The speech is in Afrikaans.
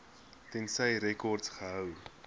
tensy rekords gehou